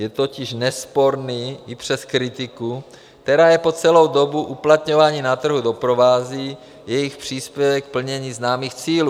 Je totiž nesporný i přes kritiku, která je po celou dobu uplatňování na trhu doprovází, jejich příspěvek k plnění známých cílů.